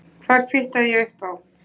Hvað kvittaði ég upp á?